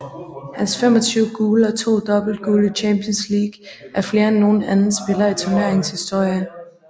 Hans 25 gule og 2 dobbeltgule i Champions League er flere end nogen anden spiller i turneringens historie